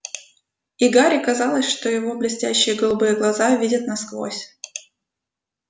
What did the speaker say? и гарри казалось что его блестящие голубые глаза видят насквозь